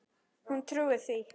Hún trúir því.